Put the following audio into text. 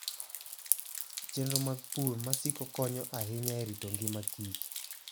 Chenro mag pur ma siko konyo ahinya e rito ngima kich